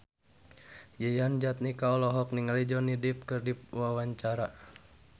Yayan Jatnika olohok ningali Johnny Depp keur diwawancara